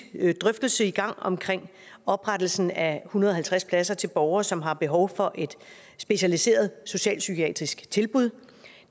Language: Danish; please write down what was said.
drøftelse i gang omkring oprettelsen af en hundrede og halvtreds pladser til borgere som har behov for et specialiseret socialpsykiatrisk tilbud